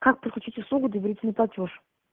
как подключить услугу доверительный платёж